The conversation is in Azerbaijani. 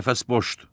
Qəfəs boşdur.